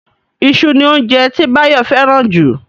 Iṣu ni óunjẹ tí Báyọ̀ fẹ́ràn jù